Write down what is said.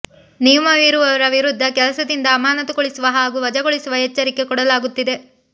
ನಿಯಮ ಮೀರುವವರ ವಿರುದ್ದ ಕೆಲಸದಿಂದ ಅಮಾನತುಗೊಳಿಸುವ ಹಾಗೂ ವಜಾಗೊಳಿಸುವ ಎಚ್ಚರಿಕೆ ಕೊಡಲಾಗುತ್ತಿದೆ